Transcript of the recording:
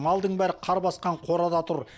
малдың бәрі қар басқан қорада тұр